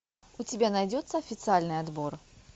у тебя найдется официальный отбор